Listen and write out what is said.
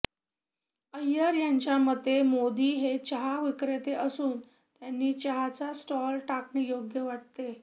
अय्यर यांच्या मते मोदी हे चहा विक्रेते असून त्यांनी चहाचा स्टॉल टाकणे योग्य वाटते